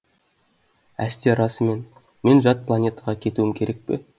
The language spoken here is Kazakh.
әсте расымен мен жат планетаға кетуім керек пе